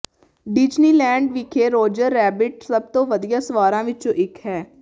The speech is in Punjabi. ਡਿਜ਼ਨੀਲੈਂਡ ਵਿਖੇ ਰੋਜਰ ਰੈਬਿਟ ਸਭ ਤੋਂ ਵਧੀਆ ਸਵਾਰਾਂ ਵਿੱਚੋਂ ਇੱਕ ਹੈ